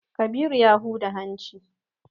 Kabiru ya huda hanci.